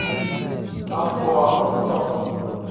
Afku waa cunto.